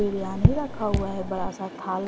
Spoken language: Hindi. बिरयानी रखा हुआ है बड़ा सा थाल--